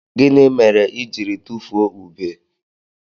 Gini mere i jiri tufuo ube?